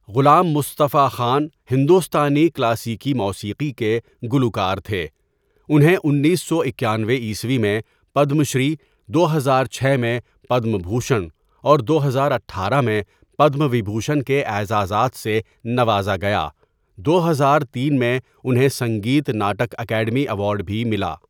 غلام مصطفٰی خان ہندوستانی کلاسیکی موسیقی کے گلوکار تھے اُنہیں انیس سو اکانوے عیسوی میں پدم شری دو ہزار چھ میں پدم بھوشن اور دو ہزار اٹھارہ میں پدم وبھوشن کے اعزازات سے نوازا گیا دو ہزار تین میں اُنہیں سنگیت ناٹک اکیڈمی ایوارڈ بھی ملا.